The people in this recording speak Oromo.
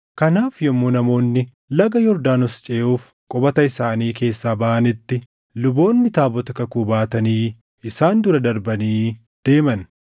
Kanaaf yommuu namoonni laga Yordaanos ceʼuuf qubata isaanii keessaa baʼanitti, luboonni taabota kakuu baatanii isaan dura darbanii deeman.